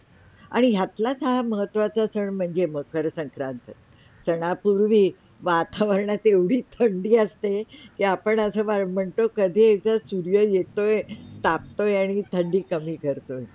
आणी यातलाच हा महत्वाचा सण म्हणजे मकर संक्रांती. सणा पुरवी वातावरणात एवडी थंडी आसते. के आपण असे म्हणतो कधी एकदा सूर्य येतोय तापतोय आणी थंडी कमी करतो.